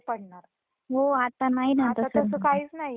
आता तसं काहीच नाहीये उन्हाळ्यातच पाऊस पडतो